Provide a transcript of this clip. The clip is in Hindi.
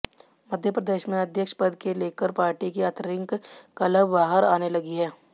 मध्यप्रदेश में अध्यक्ष पद के लेकर पार्टी की आतंरिक कलह बाहर आने लगी है